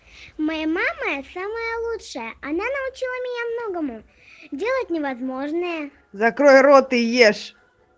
моя мама самая лучшая она научила меня многому делать невозможное закрой рот и ешь